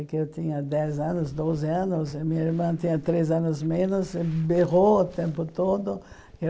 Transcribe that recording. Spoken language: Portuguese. É que eu tinha dez anos, doze anos, e minha irmã tinha três anos menos, e berrou o tempo todo.